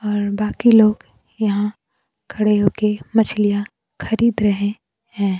और बाकी लोग यहां खड़े होके मछलियां खरीद रहे हैं।